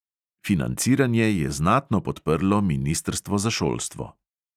Financiranje je znatno podprlo ministrstvo za šolstvo.